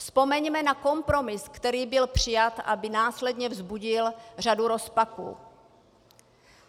Vzpomeňme na kompromis, který byl přijat, aby následně vzbudil řadu rozpadů.